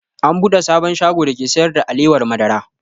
An buɗe sabon shago dake sayar da alewar madara